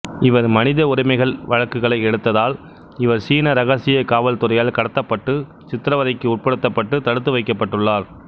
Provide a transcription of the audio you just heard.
இவர் மனித உரிமைகள் வழக்குகளை எடுத்தால் இவர் சீன இரகசிய காவல்துறையால் கடத்தப்பட்டு சித்தரவதைக்கு உட்படுத்தப்பட்டு தடுத்து வைக்கப்பட்டுள்ளார்